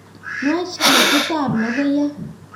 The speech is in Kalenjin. Nwach ketitab logoiyat